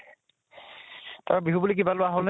আৰু বিহু বুলি কিবা লোৱা হʼল্নে